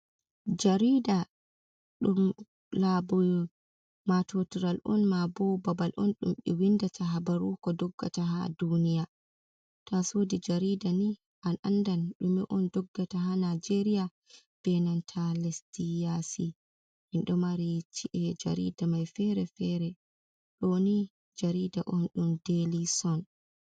Jarida, ɗum laɓi matotiral. Mabo babal on ɗum be windata habaru ko doggata ha duniya, to,a sodi jarida ni a andan ɗum ɗume on dogga ta ha najeriya, be nanta lesdi ya si .Minɗo mari cie jarida mai fere fere. Ɗoni jarida on ɗum daily son